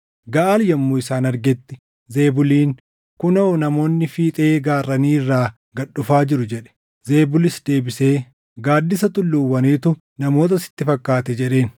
Gaʼaal yommuu isaan argetti Zebuliin, “Kunoo namoonni fiixee gaarranii irraa gad dhufaa jiru!” jedhe. Zebulis deebisee, “Gaaddisa tulluuwwaniitu namoota sitti fakkaate” jedheen.